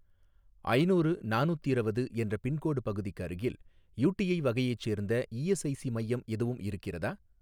ஐநூறு நானூத்திரவது என்ற பின்கோடு பகுதிக்கு அருகில் யூடிஐ வகையைச் சேர்ந்த இஎஸ்ஐஸி மையம் எதுவும் இருக்கிறதா?